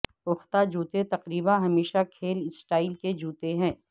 پختہ جوتے تقریبا ہمیشہ کھیل سٹائل کے جوتے ہیں